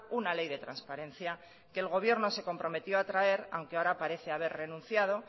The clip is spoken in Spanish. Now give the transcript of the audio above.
una ley de transparencia que el gobierno se comprometió a traer aunque ahora parece haber renunciado